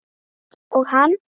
Og hann?